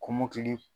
Kɔmɔkili